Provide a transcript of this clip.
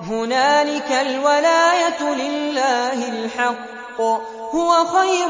هُنَالِكَ الْوَلَايَةُ لِلَّهِ الْحَقِّ ۚ هُوَ خَيْرٌ